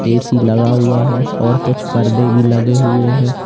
AC लगा हुआ है और कुछ पर्दे भी लगे हुए हैं।